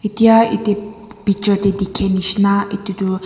etya yate pi picture tae dikhae nishina edu tu.